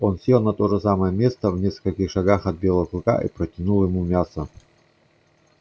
он сел на то же самое место в нескольких шагах от белого клыка и протянул ему мясо